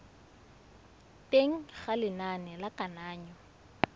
teng ga lenane la kananyo